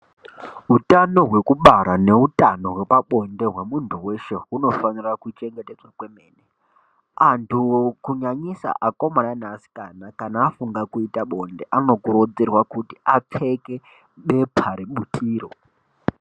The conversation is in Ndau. Utano hwebara neutano hwepabonde hwemunhu weshe hunofane kuchengetedzwa kwemene antu kunyanyisa akomana neasikana kana afunga kuita bonde anokurudzirwa kuti apfeke bepa rebutiro.